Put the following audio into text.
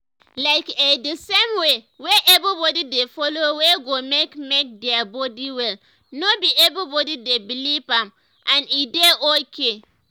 like eh the same way wey everybody dey follow wey go make make their body well no be everybody dey believe am and e dey okay.